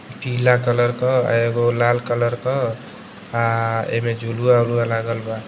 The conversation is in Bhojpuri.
पीला कलर क अ एगो लाल क आ एमे झुलवा वुलवा लागल बा।